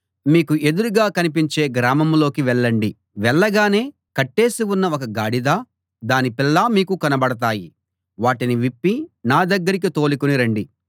మీకు ఎదురుగా కనిపించే గ్రామంలోకి వెళ్ళండి వెళ్ళగానే కట్టేసి ఉన్న ఒక గాడిదా దాని పిల్లా మీకు కనబడతాయి వాటిని విప్పి నా దగ్గరికి తోలుకుని రండి